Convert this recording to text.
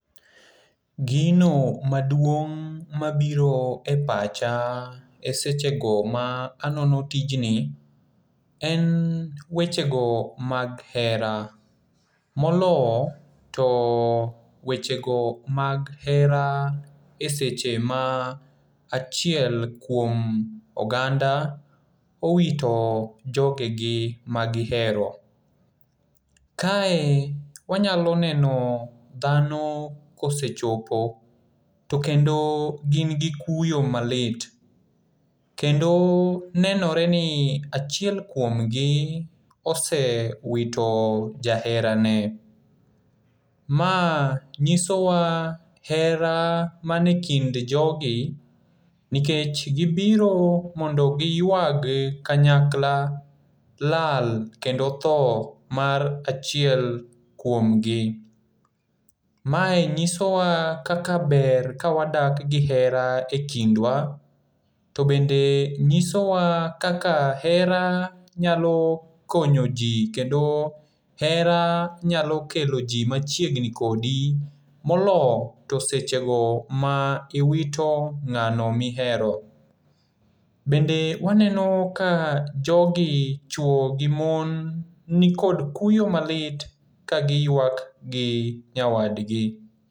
Gino maduong' mabiro e pacha e sechego ma anono tijni, en wechego mag hera. Molo to wechego mag hera e seche ma achiel kuom oganda owito jogegi magihero. Kae wanyalo neno dhano kosechopo to kendo gin gi kuyo malit kendo nenore ni achiel kuomgi osewito jaherane. Ma ng'isowa hera manekind jogi nikech gibiro mondo giywag kanyakla lal kendo tho mar achiel kuomgi. Mae ng'isowa kaka ber ka wadak gi hera e kindwa to bende ng'isowa kaka hera nyalo konyo ji kendo hera nyalo kelo ji machiegni kodi molo to sechego ma iwito ng'ano mihero. Bende waneno ka jogi chwo gi mon nikod kuyo malit kagiywak gi nyawadgi.